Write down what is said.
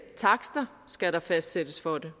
takster skal der fastsættes for det